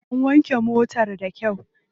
An wanke motar da kyau.